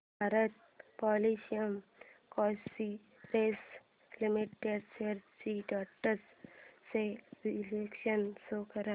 Bharat petroleum corporation limited shares trends चे विश्लेषण show कर